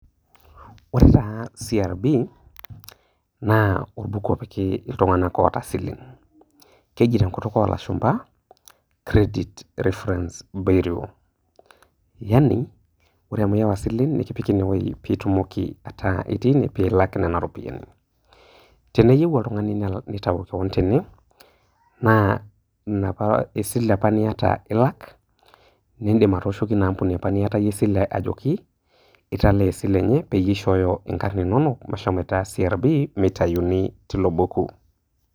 Ore taa CRB naa orbuku lopiki iltung'ank oota isileni . Keji tenkutuk olashumba credit reference bureau yaani ore amu iiwa isileni nikipiki ine wueji pee itumoki aaku ilak nena ropiyiani. Teneyieu oltung'ani nitau kewon tene naa enapa sile niata ilak, nindim atooshoki ina aampuni niatayie esile, ajoki italaa esile, nishooyo nkarn inoinok meshomoita CRB peitayuni tilo buku.